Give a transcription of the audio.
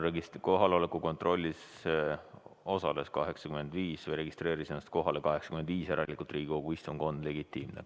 Kohaloleku kontrollis osales ja registreeris ennast kohalolijaks 85 Riigikogu liiget, järelikult Riigikogu istung on legitiimne.